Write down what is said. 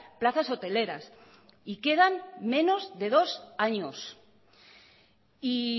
plazas hoteleras y quedan menos de dos años y